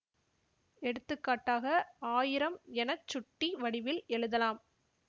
எடுத்துக்கட்டாக ஆயிரம் என சுட்டி வடிவில் எழுதலாம்